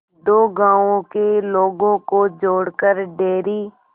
दो गांवों के लोगों को जोड़कर डेयरी